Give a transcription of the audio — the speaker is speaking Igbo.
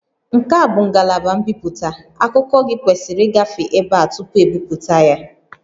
Nke a bụ ngalaba mbipụta, akụkọ gị kwesịrị ịgafe ebe a tupu ebipụta ya